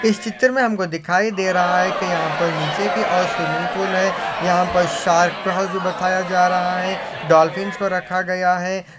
इस चित्र मे हमको दिखाई दे रहा है की यहा पर नीचे की और स्विमिंग पूल है यहा पर शार्क भी बताया जा रहा है डॉलफिन्स को रखा गया है।